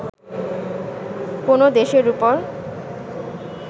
কোন দেশের উপর